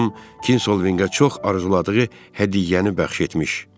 Xanım Kinsoviqə çox arzuladığı hədiyyəni bəxş etmiş.